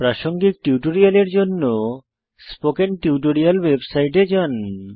প্রাসঙ্গিক টিউটোরিয়ালের জন্য স্পোকেন টিউটোরিয়াল ওয়েবসাইটে যান